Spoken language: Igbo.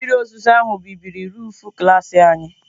Mmiri ozuzo ahụ bibiri roofu klas anyị.